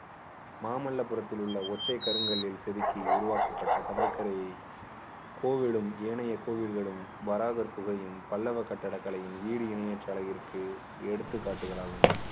மாமல்லபுரத்தில் உள்ள ஒற்றைக் கருங்கல்லில் செதுக்கி உருவாக்கப்பட்ட கடற்கரையில் கோவேடும் ஏனைய கோவில்களும் வராகர் குகையும் பல்லவர் கட்டிடக்கலையும் ஈடு இணையற்ற அழகிற்கு எடுத்துக்காட்டுகளாகும்